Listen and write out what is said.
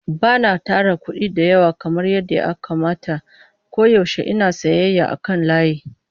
Ba na tara kuɗi da yawa kamar yadda ya kamata domin koyaushe ina siyayya ta kan layi.